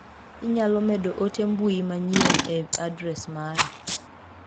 Inyalo medo ote mbui manyien e adres mara.